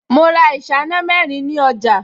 Mo ra ìṣáná mẹ́rin ní ọjà